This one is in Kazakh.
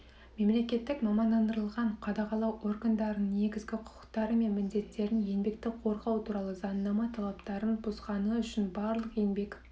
мемлекеттік мамандандырылған қадағалау органдарының негізгі құқықтары мен міндеттерін еңбекті қорғау туралы заңнама талаптарын бұзғаны үшін барлық еңбек